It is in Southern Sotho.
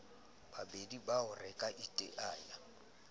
babedi bao re ka iteanyang